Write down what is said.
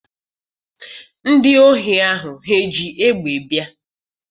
Ndị ohi ahụ ha ji egbe bịa?